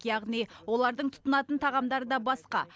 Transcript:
яғни олардың тұтынатын тағамдары да басқа